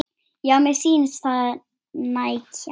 Já, mér sýnist það nægja!